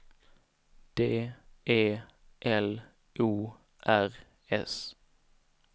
D E L O R S